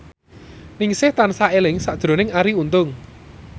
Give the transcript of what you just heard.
Ningsih tansah eling sakjroning Arie Untung